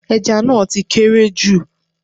Ẹja náà ti kéré jù